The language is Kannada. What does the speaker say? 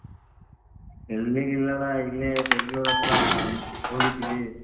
ಎಲ್ಲಿಗ್ ಇಲ್ಲ ಅಣ್ಣ ಇಲ್ಲೇ ಬೆಂಗ್ಳುರ್ ಅತ್ರ ಹೋಗಿದ್ವಿ